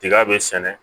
Tiga bɛ sɛnɛ